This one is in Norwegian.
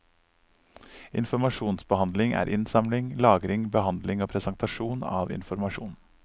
Informasjonsbehandling er innsamling, lagring, behandling og presentasjon av informasjon.